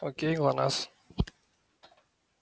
окей глонассс